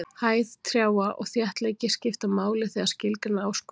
Hæð trjáa og þéttleiki skipta máli þegar skilgreina á skóg.